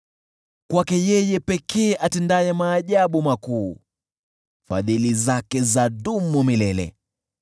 Kwake yeye pekee atendaye maajabu makuu, Fadhili zake zadumu milele .